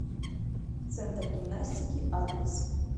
центр гимнастики адрес